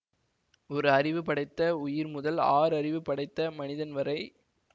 ஒரு அறிவு படைத்த உயிர்முதல் ஆறு அறிவு படைத்த மனிதன் வரை